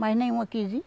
Mas nenhuma quis ir.